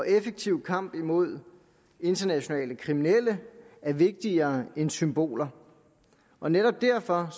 effektiv kamp imod internationale kriminelle er vigtigere end symboler og netop derfor